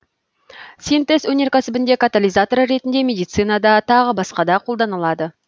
синтез өнеркәсібінде катализатор ретінде медицинада тағы басқа да иқолданылады